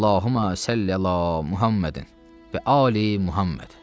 Allahümə salli əla Muhəmmədin və ali Muhəmməd.